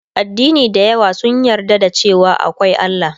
Addini da yawa sun yarda da cewa akwai Allah